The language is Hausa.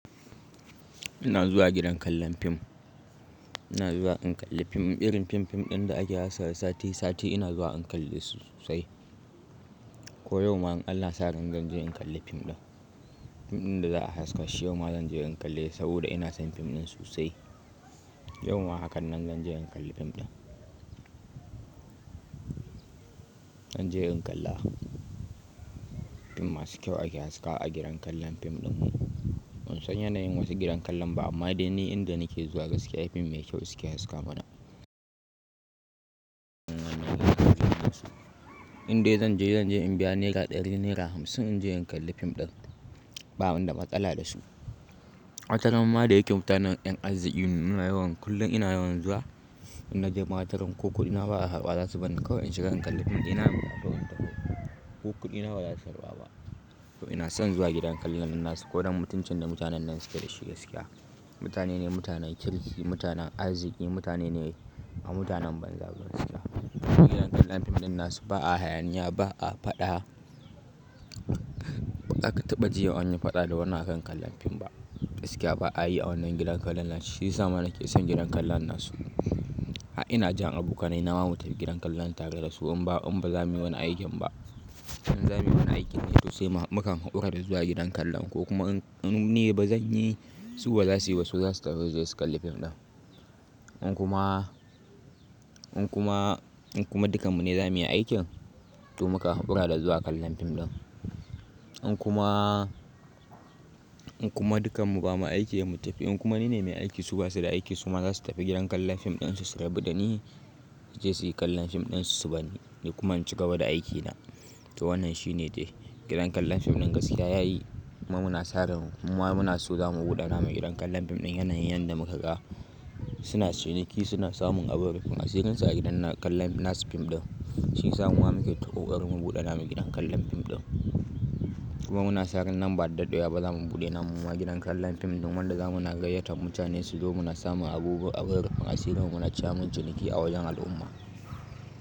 Ina zuwa gidan kallan fim, ina zuwa in kalli fim. Irin fim-fim ɗin da ake haskawa sati sati ina zuwa in kalli su sosai. Ko yau ma in Allah yasa zan je in kalli fim ɗin. Fim ɗin da za a haska shi yau ma zan je in kalli saboda ina son fim ɗin sosai. Yau ma hakanan zan je in kalli fim ɗin. Zan je in kalla fim masu kyau ake haskawa gidan kallon fim ɗin. Ban san yanayin wasu gidan kallan ba amma dai ni inda nake zuwa gaskiya fim mai kyau suke haska mana. Inde zan je zan biya naira ɗari naira hamsin in je in kalli fim ɗin banida matsala da su. Wata rana ma da yake mutanen yan arziki kullum ina yawan zuwa, in na je ma wataran ma ko kudi na ba a karba za su barni kawai in shiga in kalli fim ɗina ɗaukan hoto. Ko kuɗina bazasu karɓa ba to ina son zuwa gidan kallon nan nasu ko don mutuncin da mutanen nan suke da shi gaskiya. Mutane ne mutanen kirki, mutanen arziki mutane ne ba mutanen banza suke. Gidan kallan fim ɗin nasu ba a hayaniya ba a faɗa, ba ka taɓa ji a wani faɗa da wannan akan kallan fim ba. Gaskiya ba a yi a wannan gidan kallon nan shi ya sa ma nake son gidan kallon nasu. Har ina jan abokanai na mu tafi gidan kallon tare da su in ba in ba za muyi wani aikin ba. In za muyi wani aikin ne toh sai mu mukan haƙura da zuwa gidan kallon ko kuma in, in ni ba zan yi su ba za su yi ba su za su tafi su kalli fim ɗin. In kuma, in kuma, in kuma dukanmu ne za muyi aikin to mu ka haƙura da zuwa kallon fim ɗin. In kuma, in kuma dukanmu ba mu aiki da mu tafi in kuma ni ne mai aiki su basu da aiki su ma za su tafi gidan kallon fim ɗin su su rabu da ni, su je su yi kallon fim ɗin su su barni ni kuma in cigaba da aikina. To wannan shine dai gidan kallon fim ɗin gaskiya yayi muna saran mu ma muna so za mu buɗe namu gidan kallon fim ɗin yanayin yanda muka ga suna ciniki suna samun abun rufin asirinsu a gidan na kallan nasu fim ɗin. Shi ya sa muma muke ta ƙaoƙarin mu buɗe nama gidan kallon fim ɗin. Kuma muna sa ran nan ba da dadewa ba za mu buɗe namu mumae gidan kallon fim ɗin wanda za muna gaiyata mutane su zo mu na samu abubuwan abun rufin asiri mu na ci amin ciniki a wajen al'umma.